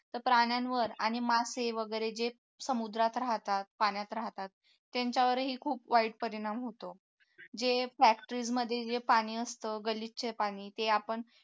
तर प्राण्यांवर आणि मासे वगैरे जे समुद्रात राहतात पाण्यात राहतात त्यांच्यावरही खूप वाईट परिणाम होतो जे factorys मध्ये जे पाणी असतं गलिच्छ पाणी ते आपण